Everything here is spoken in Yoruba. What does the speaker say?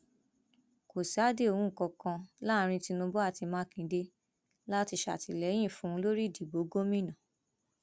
kò sí àdéhùn kankan láàrin tinubu àti mákindé láti ṣàtìlẹyìn fún un lórí ìdìbò gómìnà